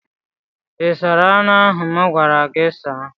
Ị sara anụ ahụ m gwara gị saa?